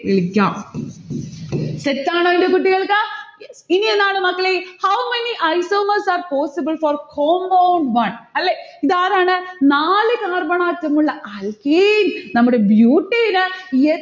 വിളിക്കാം set ആണോ ന്റെ കുട്ടികൾക്ക്? ഇനി എന്നാണ് മക്കളെ? how many isomers are possible for homo one അല്ലെ? ഇതാരാണ്? നാല് carbon atom ഉള്ള alkane നമ്മുടെ butane എ